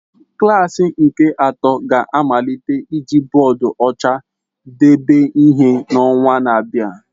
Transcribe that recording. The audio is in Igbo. Klasi nke atọ ga-amalite iji bọọdụ ọcha debe ihe n'ọnwa na-abịa.